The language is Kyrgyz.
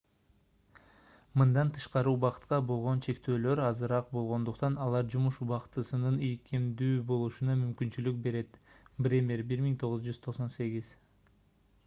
мындан тышкары убакытка болгон чектөөлөр азыраак болгондуктан алар жумуш убактысынын ийкемдүү болушуна мүмкүнчүлүк берет. бремер 1998